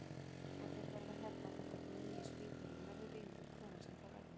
Og þeir verða hérna þangað til að nýi spítalinn verður vígður hvenær sem það verður?